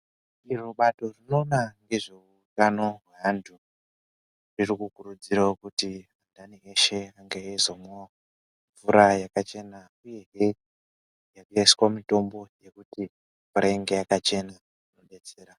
Iro bato rinoona ngezveutano hweanthu, riri kukurudzirawo kuti anhani eshe ange eizomwawo mvura yakachena, uyezve yakaiswa mitombo yekuti mvura inge yakachena. Zvinodetsera.